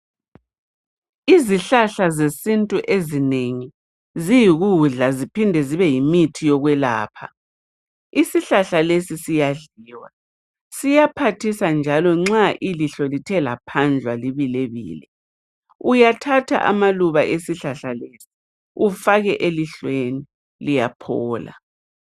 Izihlahla zesintu ezinengi ziyi kudla ziphinde zibe yimithi yokwelapha isihlahla lesi siyadliwa ziyaphathisa njalo nxa ilihlo lithe laphandlwa libilebile uyathatha amaluba esihlahla lesi ufake elihlweni liyaphola.